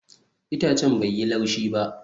Itacen bai yi laushi ba